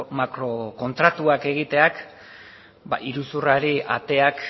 makrokontratuak egiteak iruzurrari ateak